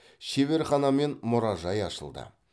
шеберхана мен мұражай ашылды